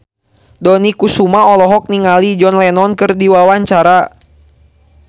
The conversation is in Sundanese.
Dony Kesuma olohok ningali John Lennon keur diwawancara